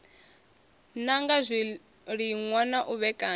nanga zwiliṅwa na u vhekanya